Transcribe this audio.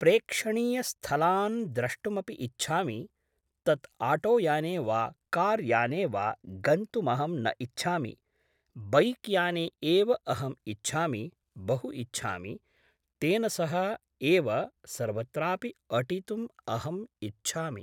प्रेक्षणीयस्थलान् द्रष्टुमपि इच्छामि तत् आटो याने वा कार् याने वा गन्तुमहं न इच्छामि बैक् याने एव अहं इच्छामि बहु इच्छामि तेन सह एव सर्वत्रापि अटितुम् अहं इच्छामि